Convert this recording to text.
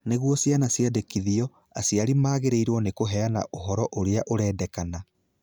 Nĩguo ciana ciandĩkithio, aciari magĩrĩirũo nĩ kũheana ũhoro ũrĩa ũrendekana.